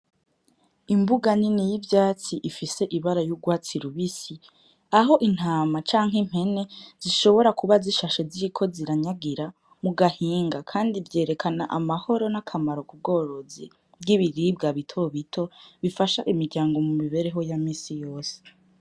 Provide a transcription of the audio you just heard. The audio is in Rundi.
Imbuga nini y'ivyatsi ifise ibara y'urwatsi rubisi, ah'intama canke impene zishobora kuba zishashe ziriko ziranyanyagira mu gahinga kandi vyerekana amahoro n'akamarao k'ubworozi bw'ibiribwa bito bito bifasha imiryango mu mibereho ya misi yose.